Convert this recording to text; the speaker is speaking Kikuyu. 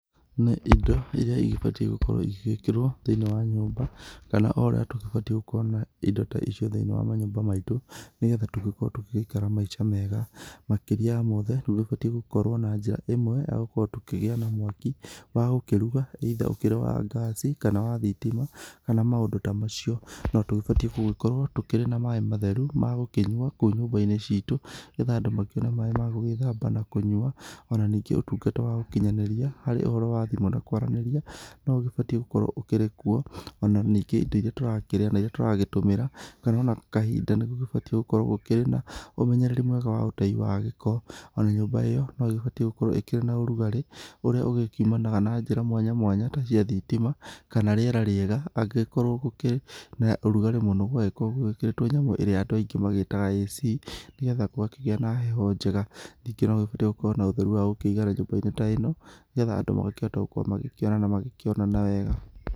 Nĩ ĩndo ĩria ĩbatiĩ gũkorwo ĩgĩkĩrwo thĩiniĩ wa nyũmba kana o ũrĩa tũgĩbatiĩ gũkorwo na ĩndo ta icio thĩiniĩ wa manyũmba maĩtũ nĩgetha tũgĩkorwo tũgĩgĩikara maĩca mega. Makĩria ya mothe nĩgũbatĩ gũkorwo na njĩra ĩmwe ya gũkorwo tũkĩgĩa na mwaki wa gũkĩruga either ũkĩrĩ wa ngasĩ kana wa thitima kana maũndũ ta macio. No tũgĩbatĩ gũkorwo tũkĩrĩ na maĩ matheru ma gũkĩnyua kũu nyũmba-inĩ citũ nĩgetha andũ makĩone maĩ magũgĩthamba na kũnyua ona ningĩ ũtungata wa gũkinyanĩria harĩ ũhoro wa thimũ na kwaranĩria no ũgĩbatĩ gũkorwo ũkĩrĩkuo. Ona ningĩ ĩndo iria tũrakĩrĩa na ĩria tũragĩtũmĩra kana ona kahinda nĩgũbatĩ gũkorwo gũkĩrĩ na ũmenyereri mwega wa ũtei wa gĩko. Ona nyũmba ĩyo no ĩgĩbatĩ gũkorwo ĩkĩrĩ na ũrugarĩ ũrĩa ũgĩkiumanaga na njĩra mwanya mwanya ta cia thitima kana rĩera rĩega angĩgĩkorwo gũkĩrĩ na ũrugarĩ mũno gũgagĩkorwo gwĩkĩrĩtwo nyamũ ĩrĩa andũ aingĩ magĩtaga air conditioner nĩgetha gũgakĩgĩa na heho njega. Ningĩ nĩgũbatĩ gũgagĩkorwo na ũtheri wa gũkĩigana nyũmba-inĩ ta ĩno nĩgetha andũ magakĩhota gũkorwo magĩikara na magĩkĩonana wega.